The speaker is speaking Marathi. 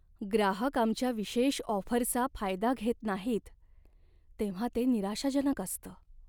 ग्राहक आमच्या विशेष ऑफरचा फायदा घेत नाहीत तेव्हा ते निराशाजनक असतं.